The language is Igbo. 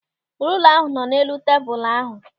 Rula ahụ nọ n'elu tebụl ahụ.